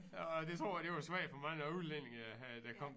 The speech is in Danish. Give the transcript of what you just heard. Orh det tror jeg det var svært for mange af udlændingene øh der kom